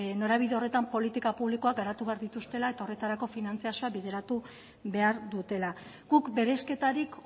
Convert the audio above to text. norabide horretan politika publikoak garatu behar dituztela eta horretarako finantzazioa bideratu behar dutela guk bereizketarik